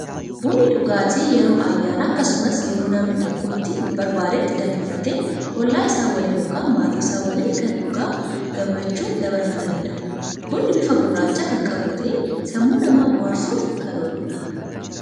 Bunni dhugaatti yeroo ayyaana akkasumas yeroo namni tokko itti barbaaddetti danfifatee ollaa isaa waliin ykn maatii isaa waliin kan dhugaa gammachuun dabarfatanidha. bunni bifa gurraacha kan qabu ta'ee sammuu namaa bohaarsuuf kan ooludha.